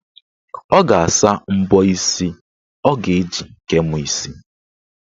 Ọ ga-asa mbọ isi ọ ga-eji kee mụ isi.